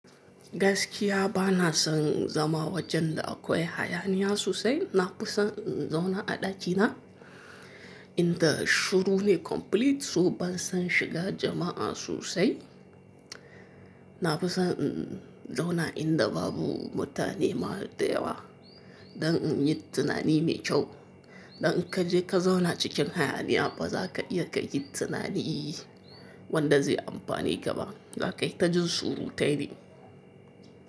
Gaskiya ba na son zama wajen da akwai hayaniya sosai. Na fi son in zauna a ɗaki na, in da shuru ne complete. So ban son shiga jama'a sosai. Na fi son in zauna inda babu mutane ma da yawa don in yi tunani mai kyau. Don in ka je ka zauna cikin hayaniya, ba za ka iya ka yi tunani wanda zai amfane ka ba. Za ka yi ta jin surutai ne.